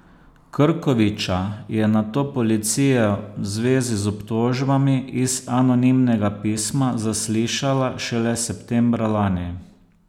Krkoviča je nato policija v zvezi z obtožbami iz anonimnega pisma zaslišala šele septembra lani.